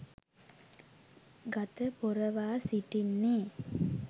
ගත පොරවා සිටින්නේ